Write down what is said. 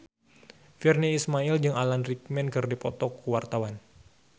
Virnie Ismail jeung Alan Rickman keur dipoto ku wartawan